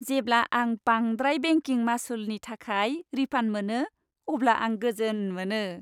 जेब्ला आं बांद्राय बेंकिं मासुलनि थाखाय रिफान्ड मोनो अब्ला आं गोजोन मोनो।